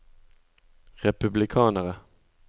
republikanere